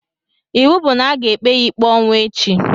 Ịwụ bụ na-aga ekpe ya ikpe ọnwụ echi